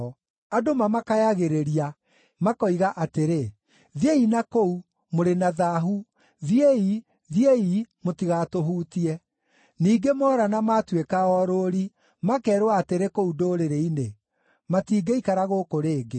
Andũ mamakayagĩrĩria, makoiga atĩrĩ, “Thiĩi nakũu! Mũrĩ na thaahu! Thiĩi! Thiĩi! Mũtigatũhutie!” Ningĩ moora na maatuĩka orũũri, makeerwo atĩrĩ kũu ndũrĩrĩ-inĩ, “Matingĩikara gũkũ rĩngĩ.”